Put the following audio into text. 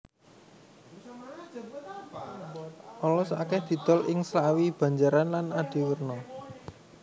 Olos akèh didol ing Slawi Banjaran lan Adiwerna